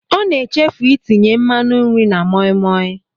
Ọ na-echefu itinye nmanụ nri na moimoi.